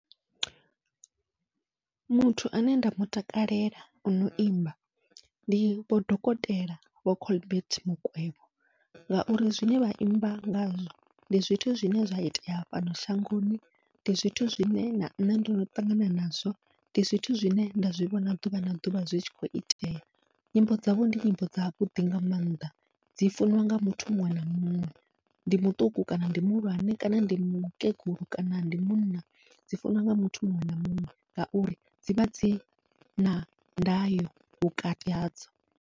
Muthu ane nda mutakalela ono imba ndi Vho Dokotela Vho Colbert Mukwevho, ngauri zwine vha imba ngazwo ndi zwithu zwine zwa itea fhano shangoni ndi zwithu zwine na nṋe ndono ṱangana nazwo, ndi zwithu zwine nda zwivhona ḓuvha na ḓuvha zwi tshi kho itea. Nyimbo dzavho ndi nyimbo dzavhuḓi nga maanḓa dzi funiwa nga muthu muṅwe na muṅwe, ndi muṱuku kana ndi muhulwane kana ndi mukegulu kana ndi munna dzi funiwa nga muthu muṅwe na muṅwe ngauri dzivha dzina ndayo vhukati hadzo.